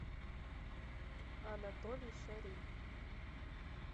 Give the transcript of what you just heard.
анатолий шарий